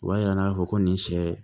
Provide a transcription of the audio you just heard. O b'a yira k'a fɔ ko nin sɛ